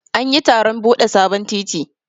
An yi taron bude sabon titi.